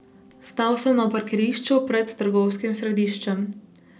Stal sem na parkirišču pred trgovskim središčem.